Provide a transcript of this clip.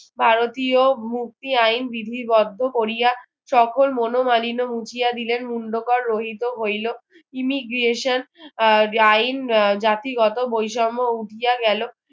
ভারতীয় মুক্তি আইন বিবদ্ধ করিয়া সকল মনোমালিন্য মুছিয়া দিলেন মুন্ডকর রোহিত হইল immigration যে আইন জাতিগত বৈষম্য উঠিয়া গেল